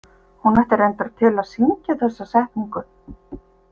Hún átti reyndar til að syngja þessa setningu.